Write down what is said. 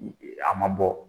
A ma bɔ